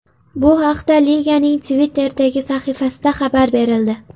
Bu haqda liganing Twitter’dagi sahifasida xabar berildi.